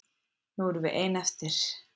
Nú erum við ein eftir.